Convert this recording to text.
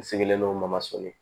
N sigilen no ma sone